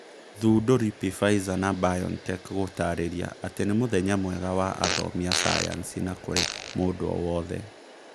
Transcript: thundũri, Pfizer na BioNTech gũtarĩria atĩ nĩ mũthenya mwega wa athomi a sayansi na kũrĩ mũndu o wothe